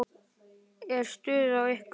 Er stuð á ykkur?